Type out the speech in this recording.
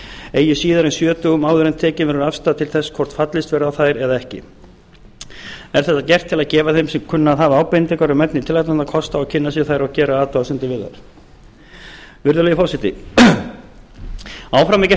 eigi síðar en sjö dögum áður en tekin verður afstaða til þess hvort fallist verður á þær eða ekki er þetta gert til að gefa þeim sem kunna að hafa ábendingar um efni tillagnanna kost á að kynna sér þær og gera athugasemdir við þær virðulegi forseti áfram er gert ráð fyrir